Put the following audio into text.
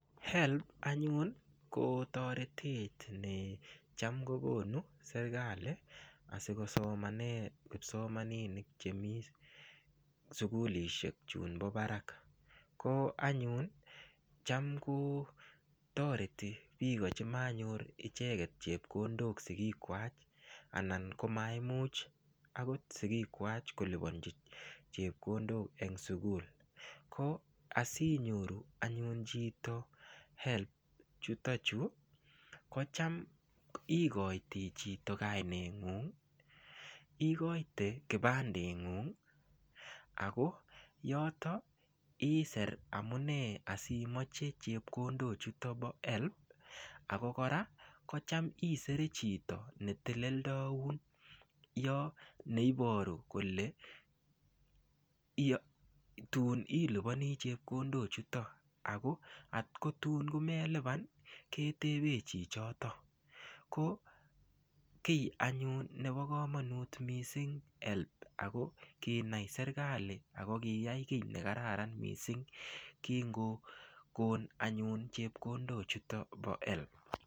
HELB anyun kotoret necham kogonu serikali asikosomane kipsomaninik chemii sugulishek chumbo parak ko anyun cham kotoreti piko chemanyor icheket chepkondok sigik kwach anan ko maimuch akot sigik kwach kolipanji chepkondok eng' sugul ko asinyoru anyun chito HELB chutochu ko cham ikoiyti chito kaineng'ung', ikoiyte kipande ng'ung' ako yotok iser amune asi imache chepkondok chutok pa HELB ako koraa kocham isere chito ne teleldoun yo neiporu kole tun ilipani chepkondok chutok ako atko tuun melipan ketepe chi chotok ko kiy anyun nepo komanut mising' HELB ako kinai anyun serikali ako kiyai kiy nekararan mising' kingogon anyun chepkondok chutok pa HELB.